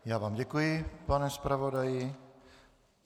Já vám děkuji, pane zpravodaji.